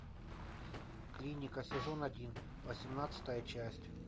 клиника сезон один восемнадцатая часть